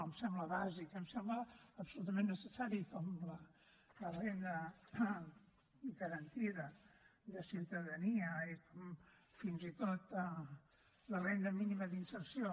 em sembla bàsic em sembla absolutament necessari com la renda garantida de ciutadania i com fins i tot la renda mínima d’inserció